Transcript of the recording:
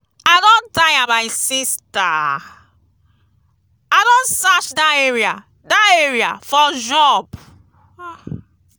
i don tire my sister. i don search dat area dat area for job.